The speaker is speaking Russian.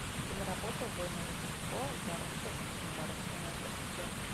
киноработа убойное рождество гарольда и кумара ты найдешь у себя